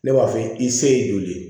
Ne b'a f'i i se ye joli ye